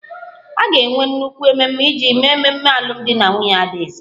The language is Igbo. A ga-enwe nnukwu ememe iji mee ememe alụmdi na nwunye adaeze